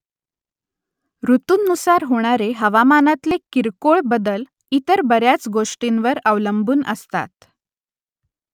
ऋतूंनुसार होणारे हवामानातले किरकोळ बदल इतर बऱ्याच गोष्टींवर अवलंबून असतात